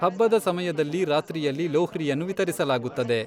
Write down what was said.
ಹಬ್ಬದ ಸಮಯದಲ್ಲಿ ರಾತ್ರಿಯಲ್ಲಿ ಲೋಹ್ರಿಯನ್ನು ವಿತರಿಸಲಾಗುತ್ತದೆ.